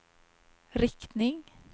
riktning